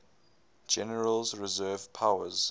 general's reserve powers